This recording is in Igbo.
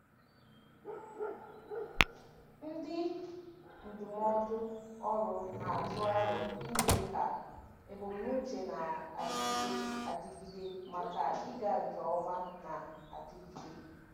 Ndị ndụmọdụ ọrụ na-atụ aro ime ka ebumnuche na-adịgide adịgide maka ịga nke ọma na-adigide.